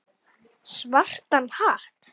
Svartan hatt.